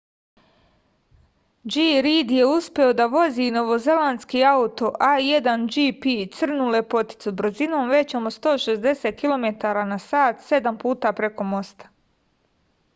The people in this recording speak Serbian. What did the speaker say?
g rid je uspeo da vozi novozelandski auto a1gp crnu lepoticu brzinom većom od 160 km/h sedam puta preko mosta